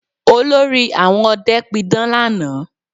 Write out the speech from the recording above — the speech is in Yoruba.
Olórí àwọn ọdẹ pidán lánàá